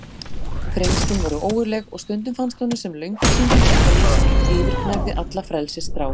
Þrengslin voru ógurleg og stundum fannst honum sem löngun sín til einkalífs yfirgnæfði alla frelsisþrá.